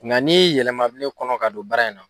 Nga ni yɛlɛma bɛ ne kɔnɔ ka don baara in na.